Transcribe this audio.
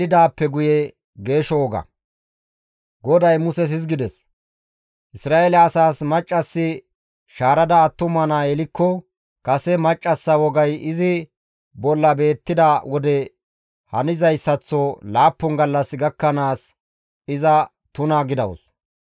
«Isra7eele asaas, ‹Maccassi shaarada attuma naa yelikko kase maccassa wogay izi bolla beettida wode hanizayssaththo laappun gallas gakkanaas iza tuna gidawus.